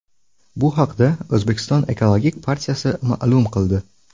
Bu haqda O‘zbekiston Ekologik partiyasi ma’lum qildi .